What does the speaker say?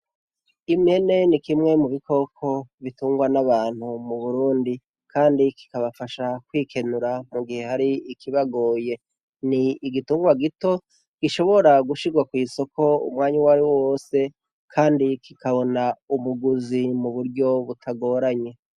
Impene ni kimwe mu bikoko bitungwa n'abantu mu Burundi kandi kikabafasha kwikenura mu gihe hari ikibagoye. Ni igitungwa gito gishobora gushigwa kw'isoko umwanya uwariwo wose kandi kikabona umuguzi mu buryo butagoranye.